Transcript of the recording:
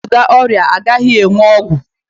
E wezụga ọrịa, a gaghị enwe ọgwụ